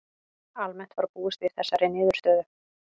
Almennt var búist við þessari niðurstöðu